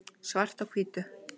svart á hvítu